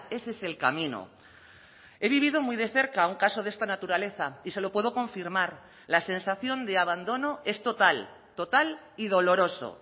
ese es el camino he vivido muy de cerca un caso de esta naturaleza y se lo puedo confirmar la sensación de abandono es total total y doloroso